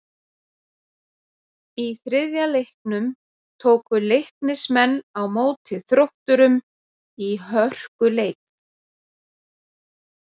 Í þriðja leiknum tóku Leiknismenn á móti Þrótturum í hörkuleik.